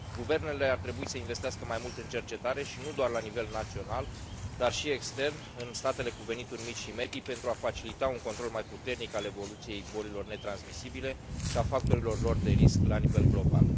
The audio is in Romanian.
Guvernele ar trebui să investească mai mult în cercetare, și nu doar la nivel național, dar și extern, în statele cu venituri mici și medii, pentru a facilita un control mai puternic al evoluției bolilor netransmisibile și a factorilor lor de risc la nivel global.